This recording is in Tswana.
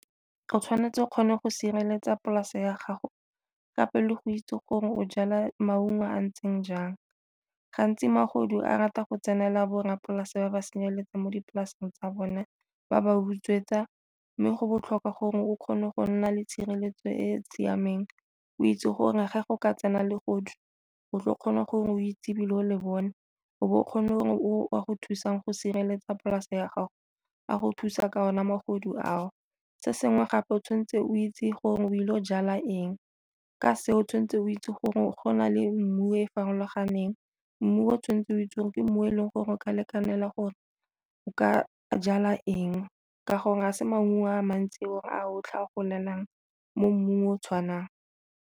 O tshwanetse o kgone go sireletsa polase ya gago kapa le go itse gore o jala maungo a ntseng jang. Gantsi magodu a rata go tsenela borrapolase ba ba senyeletsang mo dipolaseng tsa bone, ba ba utswetsa, mme go botlhokwa gore o kgone go nna le tshireletso e e siameng o itse gore ge go ka tsena le bogodu o tle o kgona gore o itse ebile o le bone o bo o kgone o a go thusang go sireletsa polase ya gago a go thusa ka ona magodu a o. Se sengwe gape o tshwanetse o itse gore o ile go jala eng ka se o tshwanetse o itse gore go na le mmu e e farologaneng, mmu o tshwanetse o itse gore ke mmu e leng gore o ka lekanelang gore o ka jala eng ka gore ga se maungo a mantsi gore a otlhe a golelang mo mmung o o tshwanang.